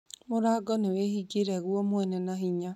Mũrango nĩ wĩhingire guo mwene na hinya